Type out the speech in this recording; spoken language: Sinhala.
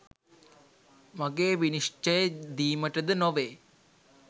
මගේ විනිශ්චය දීමටද නොවේ